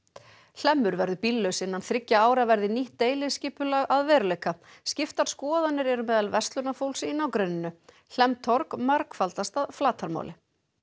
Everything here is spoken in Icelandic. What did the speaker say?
hlemmur verður bíllaus innan þriggja ára verði nýtt deiliskipulag að veruleika skiptar skoðanir eru meðal verslunarfólks í nágrenninu Hlemmtorg margfaldast að flatarmáli